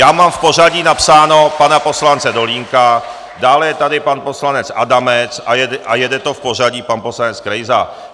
Já mám v pořadí napsaného pana poslance Dolínka, dále je tady pan poslanec Adamec a jede to v pořadí, pan poslanec Krejza.